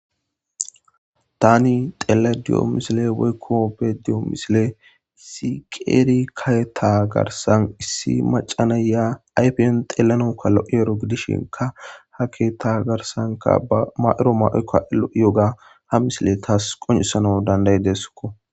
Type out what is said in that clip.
Tan xelayida do'o misiley woyiko be'ayida de'o issi karetha eqa garisa issi maca na'ey ayipen xelanawu lo'ero gidishin ha ketha garisan eya ma'ido mayoka lo'eyaga ha misiley tas qoncisanas danida'izesko